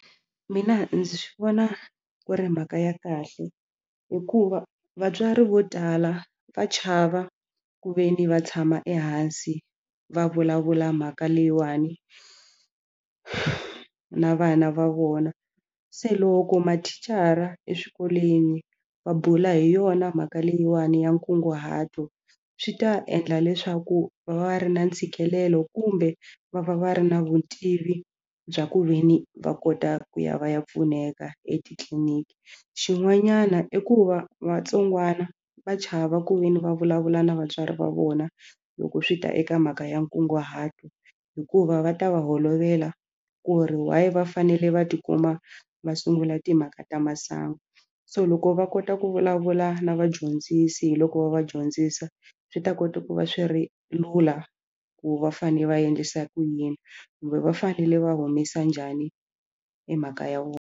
Mina ndzi swi vona ku ri mhaka ya kahle hikuva vatswari vo tala va chava ku ve ni va tshama ehansi va vulavula mhaka leyiwani na vana va vona se loko mathicara eswikolweni va bula hi yona mhaka leyiwani ya nkunguhato swi ta endla leswaku va va ri na ntshikelelo kumbe va va va ri na vutivi bya ku ve ni va kota ku ya va ya pfuneka etitliliniki xin'wanyana i ku va vatsongwana va chava ku ve ni va vulavula na vatswari va vona loko swi ta eka mhaka ya nkunguhato hikuva va ta va holovela ku ri why va fanele va tikuma va sungula timhaka ta masangu so loko va kota ku vulavula na vadyondzisi hi loko va va dyondzisa swi ta kota ku va swi ri lula ku va fanele va endlisa ku yini kumbe va fanele va humesa njhani hi mhaka ya .